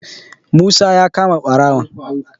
musa ya kama barawon